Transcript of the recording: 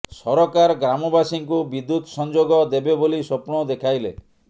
ସରକାର ଗ୍ରାମବାସୀଙ୍କୁ ବିଦ୍ୟୁତ ସଂଯୋଗ ଦେବେ ବୋଲି ସ୍ବପ୍ନ ଦେଖାଇଲେ